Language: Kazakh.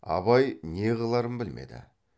абай неғыларын білмеді